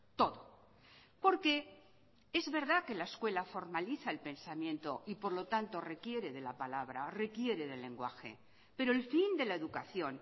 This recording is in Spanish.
todo porque es verdad que la escuela formaliza el pensamiento y por lo tanto requiere de la palabra requiere del lenguaje pero el fin de la educación